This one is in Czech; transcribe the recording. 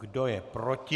Kdo je proti?